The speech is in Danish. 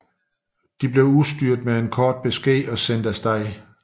Den blev udstyret med en kort besked og sendt af sted